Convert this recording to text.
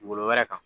Dugukolo wɛrɛ kan